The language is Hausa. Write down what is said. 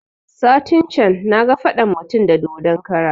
Satin can na ga faɗan mutum da dodon kara